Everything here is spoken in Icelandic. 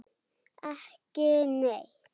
Ekki neitt